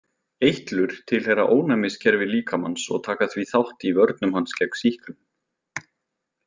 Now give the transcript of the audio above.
Eitlur tilheyra ónæmiskerfi líkamans og taka því þátt í vörnum hans gegn sýklum.